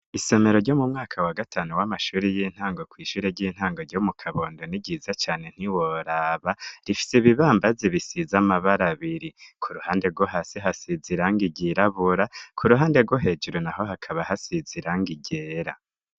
Isomero ryo mu mwaka wa gatanu w'amashuri y'intango kw'ishure ry'intango ryo mu kabondoni ryiza cane ntiworaba rifise ibibambazi bisiza amabara biri ku ruhande rwo hasi hasizairanga iryirabura ku ruhande rwo hejuru na ho hakaba hasizirango irera.